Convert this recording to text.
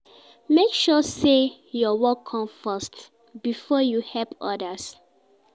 Make sure say your work come first before you help others